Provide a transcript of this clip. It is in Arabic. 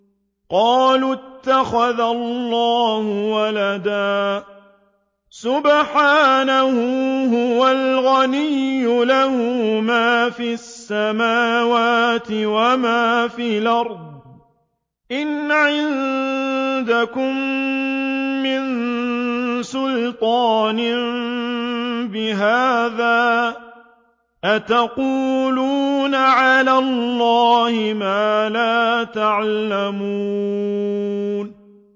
قَالُوا اتَّخَذَ اللَّهُ وَلَدًا ۗ سُبْحَانَهُ ۖ هُوَ الْغَنِيُّ ۖ لَهُ مَا فِي السَّمَاوَاتِ وَمَا فِي الْأَرْضِ ۚ إِنْ عِندَكُم مِّن سُلْطَانٍ بِهَٰذَا ۚ أَتَقُولُونَ عَلَى اللَّهِ مَا لَا تَعْلَمُونَ